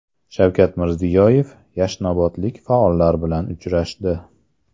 Shavkat Mirziyoyev yashnobodlik faollar bilan uchrashdi.